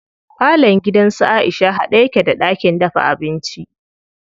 Falon gidan su Aisha haɗe yake da ɗakin dafa abinci.